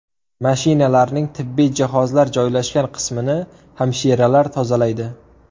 Mashinalarning tibbiy jihozlar joylashgan qismini hamshiralar tozalaydi.